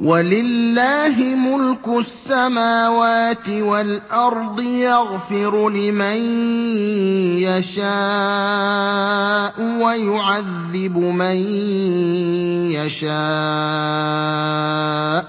وَلِلَّهِ مُلْكُ السَّمَاوَاتِ وَالْأَرْضِ ۚ يَغْفِرُ لِمَن يَشَاءُ وَيُعَذِّبُ مَن يَشَاءُ ۚ